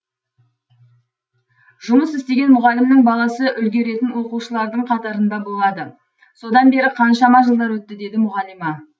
жұмыс істеген мұғалімнің баласы үлгеретін оқушылардың қатарында болады содан бері қаншама жылдар өтті деді мұғалима